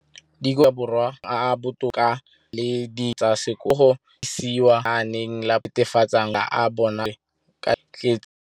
dikolo tsa puso mo Aforika Borwa ba mo maemong a a botoka a go ka samagana le ditiro tsa bona tsa sekolo, mme ditebogo di lebisiwa kwa lenaaneng la puso le le netefatsang gore mala a bona a kgorisitswe ka dijo tse di tletseng dikotla.